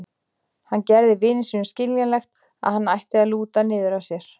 Hann gerði vini sínum skiljanlegt að hann ætti að lúta niður að sér.